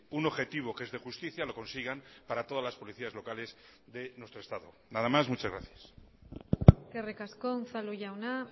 un objetivo que es de justicia lo consigan para todas las policías locales de nuestro estado nada más muchas gracias eskerrik asko unzalu jauna